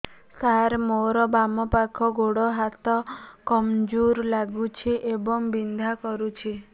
ସାର ମୋର ବାମ ପାଖ ଗୋଡ ହାତ କମଜୁର ଲାଗୁଛି ଏବଂ ବିନ୍ଧା କରୁଛି